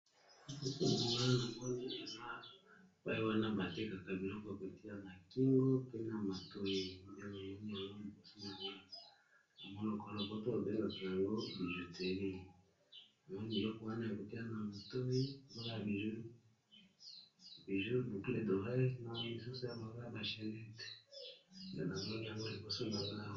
Esika oyo namoni eza epai wana batekaka biloko ya kotia na kingo pe na matoi pe namoni yango liboso nano. Na monoko ya lopoto to bengaka yango bijuteri namoni biloko wana ya kotia na matoi, naba bijoux boucle dorey na misuso ya mabaya ba chanet na misusu yango liboso nangai.